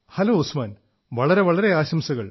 hello Usman വളരെ വളരെ ആശംസകൾ